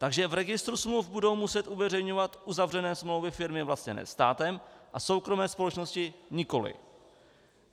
Takže v registru smluv budou muset uveřejňovat uzavřené smlouvy firmy vlastněné státem a soukromé společnosti nikoli.